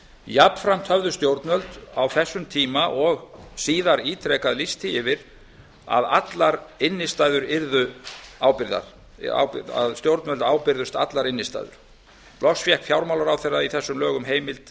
jafnframt höfðu stjórnvöld á þessum tíma og síðar ítrekað lýst því yfir að stjórnvöld ábyrgðust allar innstæður loks fékk fjármálaráðherra í þessum lögum heimild